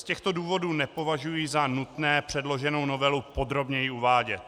Z těchto důvodů nepovažuji za nutné předloženou novelu podrobněji uvádět.